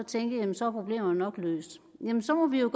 tænke at så er problemerne nok løst jamen så må vi jo